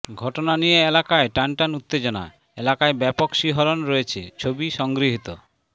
ঘটনা নিয়ে এলাকায় টানটান উত্তেজনা এলাকায় ব্যাপক শিহরণ রয়েছে ছবি সংগৃহীত